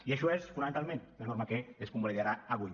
i això és fonamentalment la norma que es convalidarà avui